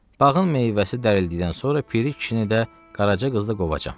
Bağın meyvəsi dərildikdən sonra piri kişini də Qaraca qızla qovacam.